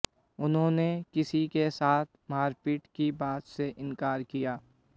उन्होंने किसी के साथ मारपीट की बात से इनकार किया